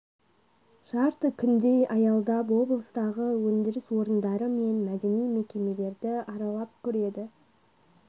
жарты күндей аялдап облыстағы өндіріс орындары мен мәдени мекемелерді аралап көреді